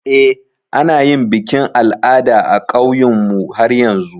Eh, ana yin bikin al'ada a ƙauynmu har yanzu.